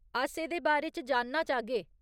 अस एह्दे बारे च जानना चाह्गे।